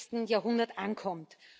21. Jahrhundert ankommt.